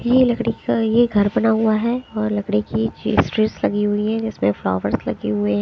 ये लकड़ी का ये घर बना हुआ है और लकड़ी की चीज ड्रेस लगी हुई है जिसमें फ्लावर्स लगे हुए--